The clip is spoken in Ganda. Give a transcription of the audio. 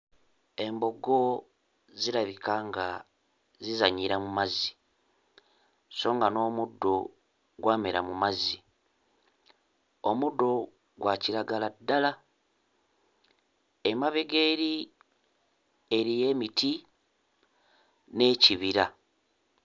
Embogo zirabika nga zizannyira mu mazzi, so nga n'omuddo gwamera mu mazzi; omuddo gwa kiragala ddala emabega eri eriyo emiti n'ekibira.